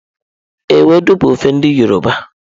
Ewedu bụ ofe ndi yọrọba.